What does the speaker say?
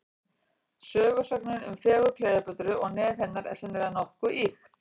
Sögusögnin um fegurð Kleópötru og nef hennar, er sennilega nokkuð ýkt.